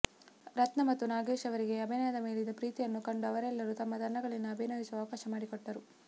ರತ್ನ ಮತ್ತು ನಾಗೇಶ್ ಅವರಿಗೆ ಅಭಿನಯದ ಮೇಲಿದ್ದ ಪ್ರೀತಿಯನ್ನು ಕಂಡು ಅವರೆಲ್ಲರೂ ತಮ್ಮ ತಂಡಗಳಲ್ಲಿ ಅಭಿನಯಿಸುವ ಅವಕಾಶ ಮಾಡಿಕೊಟ್ಟರು